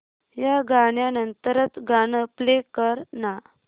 या गाण्या नंतरचं गाणं प्ले कर ना